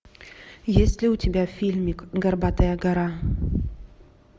есть ли у тебя фильмик горбатая гора